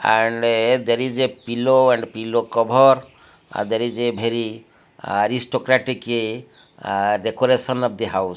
and a there is a pillow and pillow cover ah there is a very aristocratic a decoration of the house.